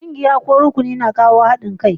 Ƙungiyar ko rukunin ƙauye na kawo haɗin kai.